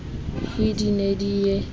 he di ne di ye